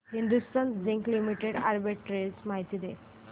Hindustan zinc limited arbitrage माहिती दे